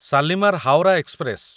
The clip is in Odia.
ଶାଲିମାର ହାୱରା ଏକ୍ସପ୍ରେସ